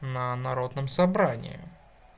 на народном собрании